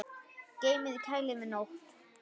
Geymið í kæli yfir nótt.